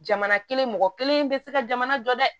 Jamana kelen mɔgɔ kelen bɛ se ka jamana jɔ dɛ